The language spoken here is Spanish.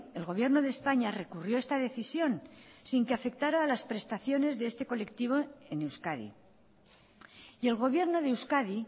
el gobierno de españa recurrió esta decisión sin que afectara a las prestaciones de este colectivo en euskadi y el gobierno de euskadi